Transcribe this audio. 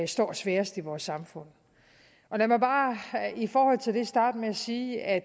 står svagest i vores samfund lad mig bare i forhold til det starte med at sige at